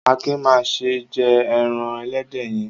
Akin má ṣe jẹ ẹran ẹlẹ́dẹ̀ yẹn!